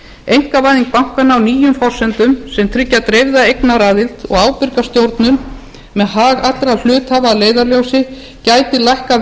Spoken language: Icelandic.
einkavæðing bankanna á nýjum forsendum sem tryggja dreifða eignaraðild og ábyrga stjórnun með hag allra hluthafa að leiðarljósi gætu lækkað